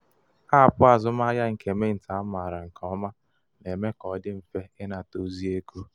apụ azụmahịa nke mint amaara nke ọma na-eme ka ọ dị mfe ịnata ozi ego.